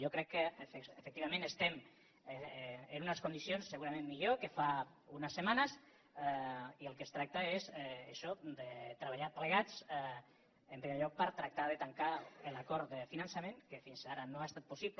jo crec que efectivament estem en unes condicions segurament millors que fa unes setmanes i del que es tracta és d’això de treballar plegats en primer lloc per tractar de tancar l’acord de finançament que fins ara no ha estat possible